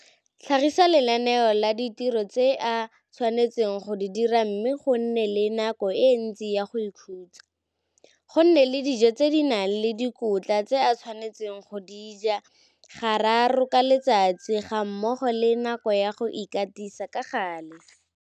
Tlhagisa lenaneo la ditiro tse a tshwanetseng go di dira mme go nne le nako e ntsi ya go ikhutsa, go nne le dijo tse di nang le dikotla tse a tshwanetseng go di ja gararo ka letsatsi gammogo le nako ya go ikatisa ka gale.